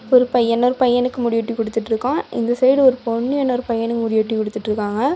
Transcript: ஒரு பையன் இன்னொரு பையனுக்கு முடி வெட்டி குடுத்துட்ருக்கான் இந்த சைடு ஒரு பொண்ணு இன்னொரு பையனுக்கு முடி வெட்டி குடுத்துட்ருக்காங்க.